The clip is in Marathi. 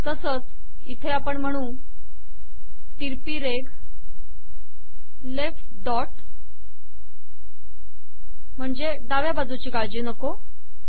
तसेच इथे आपण म्हणू तिरपी रेघ लेफ्ट डॉट डाव्या बाजूची काळजी नको